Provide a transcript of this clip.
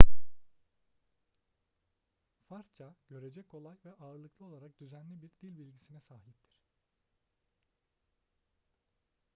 farsça görece kolay ve ağırlıklı olarak düzenli bir dilbilgisine sahiptir